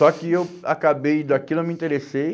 Só que eu acabei, daquilo eu me interessei,